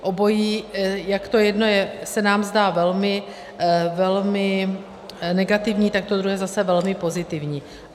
Obojí, jak to jedno se nám zdá velmi negativní, tak to druhé zase velmi pozitivní.